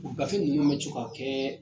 u gafe ninnu bɛ to ka kɛ